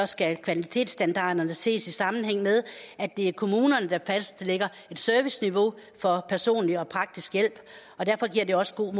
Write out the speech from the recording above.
skal kvalitetsstandarderne ses i sammenhæng med at det er kommunerne der fastlægger et serviceniveau for personlig og praktisk hjælp og derfor giver det også god